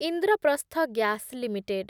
Indraprastha gas limited